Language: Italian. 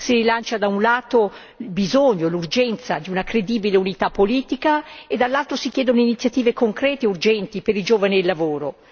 Si rilancia, da un lato, il bisogno, l'urgenza di una credibile unità politica e, dall'altro, si chiedono iniziative concrete e urgenti per i giovani e il lavoro.